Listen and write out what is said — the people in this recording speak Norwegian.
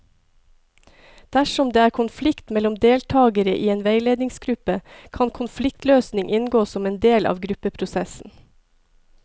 Dersom det er konflikt mellom deltakere i en veiledningsgruppe, kan konfliktløsning inngå som en del av gruppeprosessen.